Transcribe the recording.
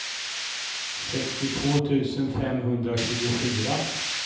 sextiotvå tusen femhundratjugofyra